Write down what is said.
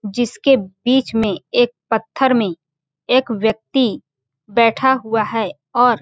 जिसके बीच में एक पत्थर में एक व्यक्ति बैठा हुआ है और --